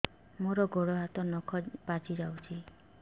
ମୋର ଗୋଡ଼ ହାତ ନଖ ପାଚି ଯାଉଛି